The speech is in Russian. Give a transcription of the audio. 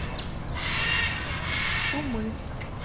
сумы